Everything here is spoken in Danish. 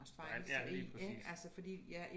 Ja lige præcis